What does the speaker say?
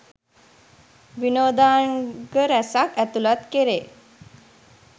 විනෝදාංග රැසක් ඇතුළත් කෙරේ